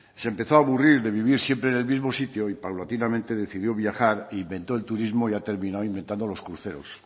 se empezó a aburrir de vivir siempre en el mismo sitio y paulatinamente decidió viajar inventó el turismo y ha terminado inventando los cruceros